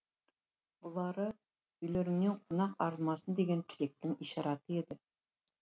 бұлары үйлеріңнен қонақ арылмасын деген тілектің ишараты еді